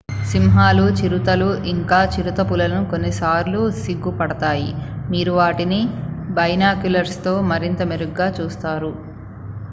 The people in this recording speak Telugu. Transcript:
సింహాలు చిరుతలు ఇంక చిరుతపులులు కొన్నిసార్లు సిగ్గుపడతాయి మీరు వాటిని బైనాక్యులర్స్ తో మరింత మెరుగ్గా చూస్తారు